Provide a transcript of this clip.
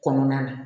Kɔnɔna na